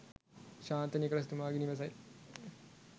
ශාන්ත Nicholas තුමාගේ නිවසයි.